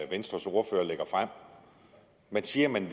venstres ordfører lægger frem man siger at man